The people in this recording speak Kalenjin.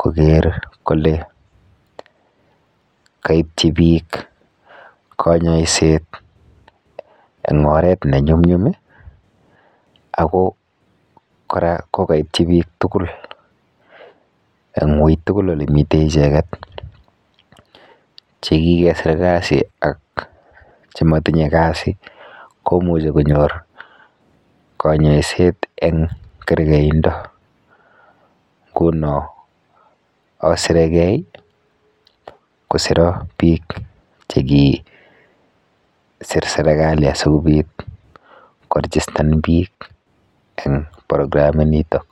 koger kole koibji biik konyoiset en oret neny'umny'um i ago kora ko koityi biik tugul en uitugul olemiten icheget chekikesir kasi ak chemotinye kasi komuche konyor konyoiset en kergeindo, ngunon asiregei kosiron biik chekisir sergali asikobit korijistan biik en programinitok.